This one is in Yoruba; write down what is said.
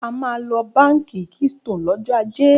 A máa lọ Báńkì Keystone lọ́jọ́ ajé.